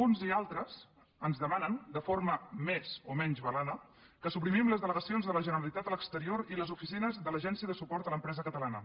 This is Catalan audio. uns i altres ens demanen de forma més o menys velada que suprimim les delegacions de la generalitat a l’exterior i les oficines de l’agència de suport a l’empresa catalana